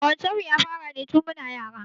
Ƙawancen mu ya fara ne tin muna yara